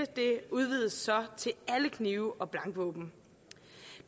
det udvides så til alle knive og blankvåben